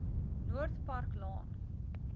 noord park laan